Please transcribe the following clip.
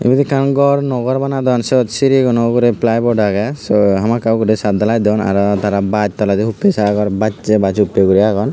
ibot ekkan gor nuo gor banadon siyot siriguno ugurey ply bod agey sei hamakkai guri chat dalai don aro tara bas toledi huppey sagor baas baas huppey guri agon.